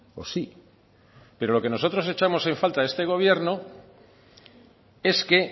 o sí pero lo que nosotros echamos en falta en este gobierno es que